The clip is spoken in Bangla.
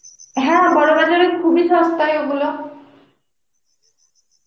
হ্যাঁ বড়বাজার এ খুব এ সস্তায় ও গুলো